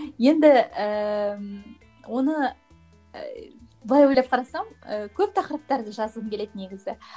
енді ііі оны і былай ойлап қарасам і көп тақырыптарды жазғым келеді негізі